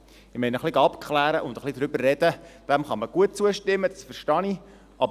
Ich meine: Ein wenig Abklären und ein wenig darüber sprechen, dem kann man gut zustimmen, das verstehe ich.